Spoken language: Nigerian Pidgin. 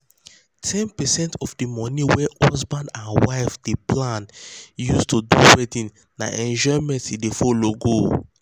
10 percent of the money wey husban and wife dey plan use do wedding na enjoyment e dey follow go.